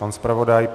Pan zpravodaj?